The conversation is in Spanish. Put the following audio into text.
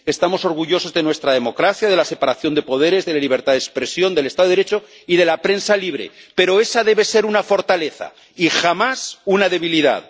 Estamos orgullosos de nuestra democracia, de la separación de poderes, de la libertad de expresión, del Estado de Derecho y de la prensa libre, pero esa debe ser una fortaleza, y jamás una debilidad.